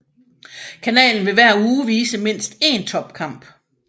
Kanalen vil hver uge vise mindst én topkamp